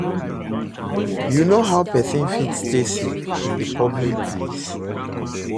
you know how pesin fit stay safe in di public place?